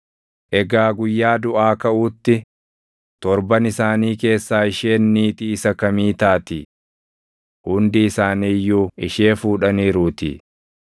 Egaa guyyaa duʼaa kaʼuutti, torban isaanii keessaa isheen niitii isa kamii taati? Hundi isaanii iyyuu ishee fuudhaniiruutii.”